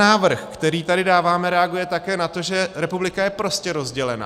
Návrh, který tady dáváme, reaguje také na to, že republika je prostě rozdělená.